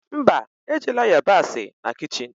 Mba, ejila yabasị na kichin